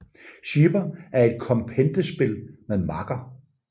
Schieber er et kompendespil med makker